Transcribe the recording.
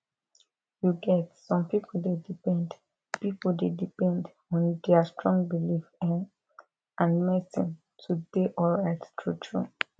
you get some people dey depend people dey depend on their strong belief ehh and medicine to dey alright truetrue